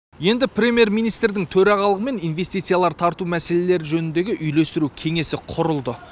енді премьер министрдің төрағалығымен инвестициялар тарту мәселелері жөніндегі үйлестіру кеңесі құрылды